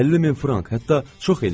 50 min frank, hətta çox eləyir.